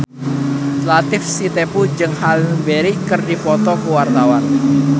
Latief Sitepu jeung Halle Berry keur dipoto ku wartawan